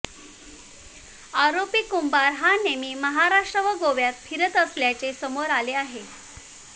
आरोपी कुंभार हा नेहमी महाराष्ट्र व गोव्यात फिरत असल्याचे समोर आले आहे